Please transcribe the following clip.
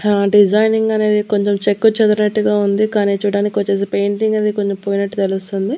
హా డిజైనింగ్ అనేది కొంచెం చెక్కుచెదిరేట్టుగా ఉంది కానీ చూడడానికి వచ్చేసి పెయింటింగ్ అది కొంచెం పోయినట్టు తెలుస్తుంది.